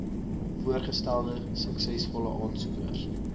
voorgestelde suksesvolle aansoekers